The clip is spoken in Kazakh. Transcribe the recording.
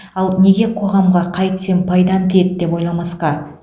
ал неге қоғамға қайтсем пайдам тиеді деп ойламасқа